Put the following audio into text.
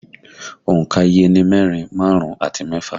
Òǹkà iye ni mẹ́rin, márùn-ún àti mẹ́fà